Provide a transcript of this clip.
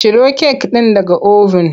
Ciro kek ɗin daga oven!